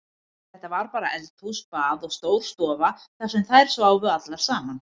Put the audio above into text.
Þetta var bara eldhús, bað og stór stofa þar sem þær sváfu allar saman.